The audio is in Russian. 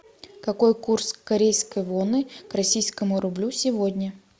какой курс корейской воны к российскому рублю сегодня